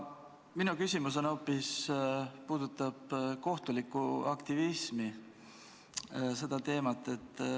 Minu küsimus puudutab hoopis kohtulikku aktivismi.